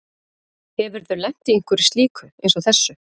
Hefurðu lent í einhverju slíku eins og þessu?